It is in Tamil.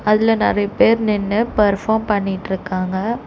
அதுல நறைய பேர் நின்னு பெர்ஃபார்ம் பண்ணிட்ருக்காங்க.